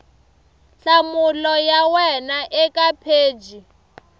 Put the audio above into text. nhlamulo ya wena eka pheji